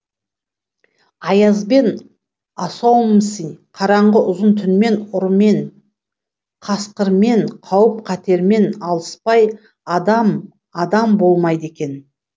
аязбен асаумсн қараңғы ұзын түнмен ұрымен қасқырмен қауіп қатермен алыспай адам адам болмайды екен